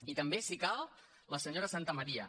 i també si cal la senyora santamaría